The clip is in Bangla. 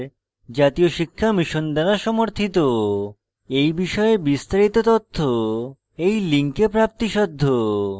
এই বিষয়ে বিস্তারিত তথ্য এই লিঙ্কে প্রাপ্তিসাধ্য spoken hyphen tutorial dot org slash nmeict hyphen intro